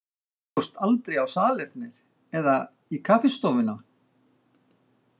Þú fórst aldrei á salernið eða í kaffistofuna?